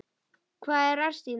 Hvað er að Stína?